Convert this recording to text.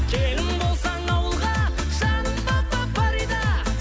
келін болсаң ауылға жаным фарида